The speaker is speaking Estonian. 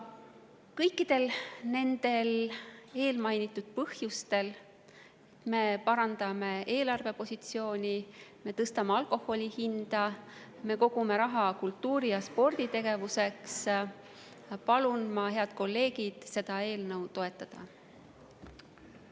Kõikidel mainitud põhjustel – me parandame eelarvepositsiooni, me tõstame alkoholi hinda, me kogume raha kultuuri‑ ja sporditegevuseks – palun ma, head kolleegid, seda eelnõu toetada.